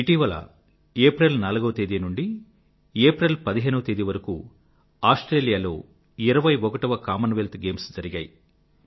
ఇటీవల ఏప్రిల్ 4వ తేదీ నుండీ ఏప్రిల్ 15వ తేదీ వరకూ ఆస్ట్రేలియా లో 21వ కామన్వెల్త్ గేమ్స్ జరిగాయి